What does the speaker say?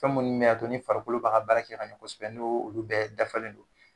Fɛn munnu b'a to ni farikolo b'a ka baara kɛ ka ɲɛ kosɛbɛ n' olu bɛɛ dafalen don.